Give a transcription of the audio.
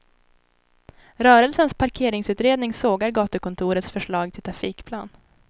Rörelsens parkeringsutredning sågar gatukontorets förslag till trafikplan.